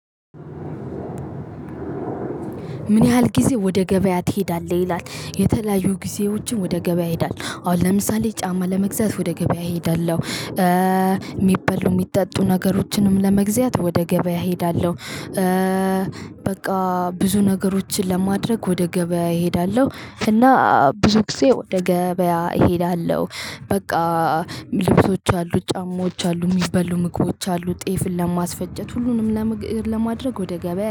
ምን ያህል ጊዜ ወደ ገበያ ትሄዳለህ? ይላል የተለያዩ ጊዜዎችን ወደ ገበያ ይሄዳል አሁን ለምሳሌ ጫማ ለመግዛት ወደ ገበያ እሄዳለሁ። የሚበሉ የሚጠጡ ነገሮችንም ለመግዛት ወደ ገበያ እሄዳለሁ። በቃ ብዙ ነገሮችን ለማድረግ ወደ ገበያ እሄዳለሁ። እና ብዙ ጊዜ ወደ ገበያ እሄዳለሁ። በቃ ልብሶች አሉ ጫማዎች አሉ። የሚበሉ ምግቦች አሉ። ጤፍን ለማስፈጨት ሁሉንም ለማድረግ ወደ ገበያ